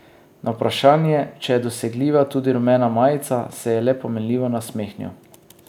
Na vprašanje, če je dosegljiva tudi rumena majica, se je le pomenljivo nasmehnil.